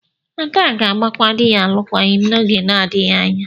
Ada ga-agbakwa di ya alụkwaghịm n'oge na-adịghị anya.